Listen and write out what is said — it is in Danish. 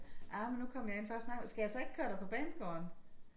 Ah men nu kom jeg ind for at snakke skal jeg så ikke køre dig på banegården?